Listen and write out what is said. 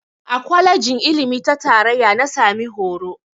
A kwalejin ilimi ta tarayya na sami horo.